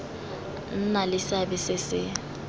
nna le seabe se se